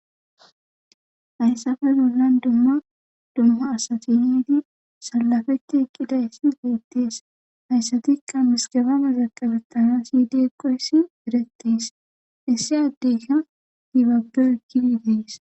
Hayssafe zollan dumma dumma asatiniti salafetti eqqidayssi geettees hayssatikka misgabana zaqabettana syideeqoyssi erattis issi addeyka hibagge ekgididees.